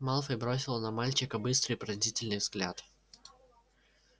малфой бросил на мальчика быстрый пронзительный взгляд